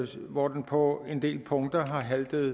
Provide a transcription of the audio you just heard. hvor den på en del punkter har haltet